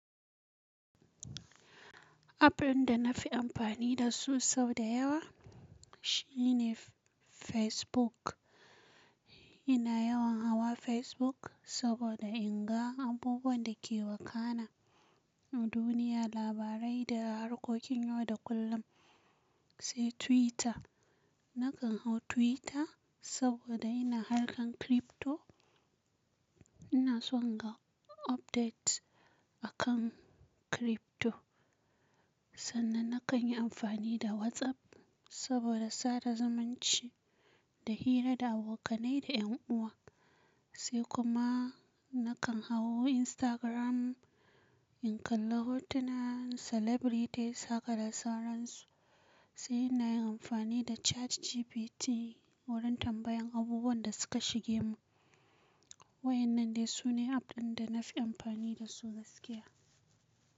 App ɗin da na fi amfani da su sau da yawa shi ne Facebook. Ina yawan hawa Facebook saboda in ga abubuwan da ke wakana a duniya, labarai da harkokin yau da kullum. Sai Twitter. Nakan hau Twitter saboda ina harkar crypto. Ina son ga updates akan crypto. Sannan nakan yi amfani da WhatsApp saboda sada zumunci da hira da abokanai da en uwa. Sai kuma nakan hau Instagram in kalla hotunan celebritys haka da sauransu. Sai ina yin amfani da ChatGPT wurin tambayan abubuwan da suka shige mu. Waɗannan ne su ne app ɗin da na fi amfani da su gaskiya.